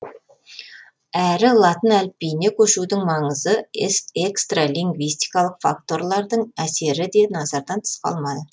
әрі латын әліпбиіне көшудің маңызы экстралингвистикалық факторлардың әсері де назардан тыс қалма